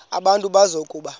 abantu bazi ukuba